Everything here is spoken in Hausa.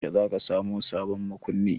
Yaushe za ka sa sabon makunni?